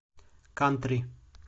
кантри